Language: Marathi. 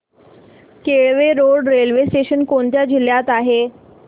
केळवे रोड रेल्वे स्टेशन कोणत्या जिल्ह्यात आहे